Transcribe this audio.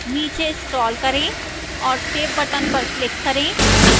नीचे scroll करें और save button पर click करें